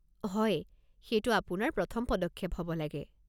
হয়, সেইটো আপোনাৰ প্ৰথম পদক্ষেপ হ'ব লাগে।